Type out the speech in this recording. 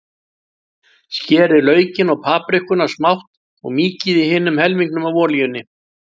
Skerið laukinn og paprikuna smátt og mýkið í hinum helmingnum af olíunni.